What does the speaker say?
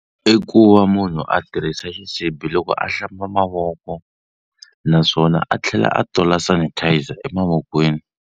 I ku va munhu a tirhisa xisibi loko a hlamba mavoko naswona a tlhela a tola sanitiser emavokweni.